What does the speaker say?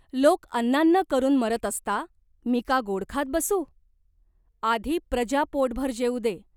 लोक अन्नान्न करून मरत असता मी का गोड खात बसू ? आधी प्रजा पोटभर जेवू दे.